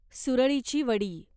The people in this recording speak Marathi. सुरळीची वडी